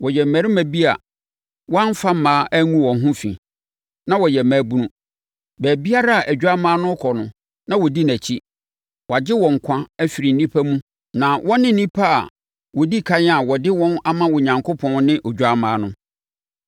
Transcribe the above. Wɔyɛ mmarima bi a wɔamfa mmaa angu wɔn ho fi, na wɔyɛ mmabunu. Baabiara a Odwammaa no bɛkɔ no na wɔdi nʼakyi. Wɔagye wɔn nkwa afiri nnipa mu na wɔne nnipa a wɔdi ɛkan a wɔde wɔn ama Onyankopɔn ne Odwammaa no.